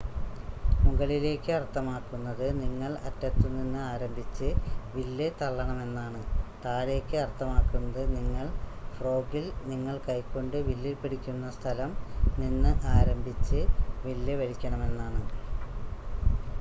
മുകളിലേക്ക് അർത്ഥമാക്കുന്നത് നിങ്ങൾ അറ്റത്തുനിന്ന് ആരംഭിച്ച് വില്ല് തള്ളണമെന്നാണ് താഴേക്ക് അർത്ഥമാക്കുന്നത് നിങ്ങൾ ഫ്രോഗിൽ നിങ്ങൾ കൈകൊണ്ട് വില്ലിൽ പിടിക്കുന്ന സ്ഥലം നിന്ന് ആരംഭിച്ച് വില്ല് വലിക്കണമെന്നാണ്